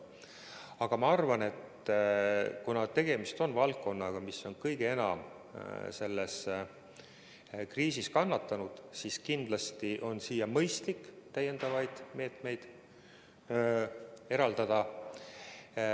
Aga ma arvan, et kuna tegemist on valdkonnaga, mis on kõige enam selles kriisis kannatanud, siis kindlasti on mõistlik siia täiendavaid vahendeid eraldada.